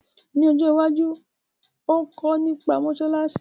Ni ojo iwaju, óò kọ́ nipa mósálásí